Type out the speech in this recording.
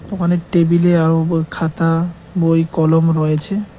দোকানের টেবিলে আর উপর খাতা বই কলম রয়েছে।